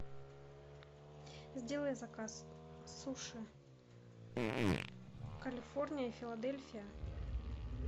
сделай заказ суши калифорния филадельфия